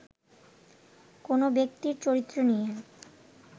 কোনও ব্যক্তির চরিত্র নিয়ে